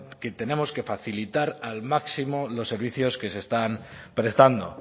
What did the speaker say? que tenemos que facilitar al máximo los servicios que se están prestando